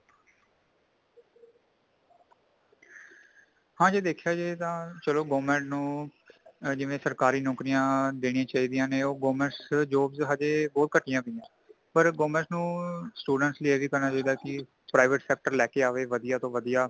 ਹਾਂਜੀ ਦੇਖਿਆ ਜਾਏ ਤਾਂ ਚਲੋ government ਨੂੰ ਜਿਵੇਂ ਸਰਕਾਰੀ ਨੌਕਰੀਆਂ ਦੇਣੀ ਚਾਹੀਦੀਆ ਨੇ ਉਹ governments jobs ਹਜੇ ਬਹੁਤ ਕਟਦਿਆਂ ਪਈਆਂ ਪਰ government ਨੂੰ students ਲਈ ਏਵੀ ਕਰਨਾ ਚਾਹੀਂਦਾ ਕਿ private sector ਲੈ ਕੇ ਆਵੇ ਵਧੀਆ ਤੋ ਵਧੀਆ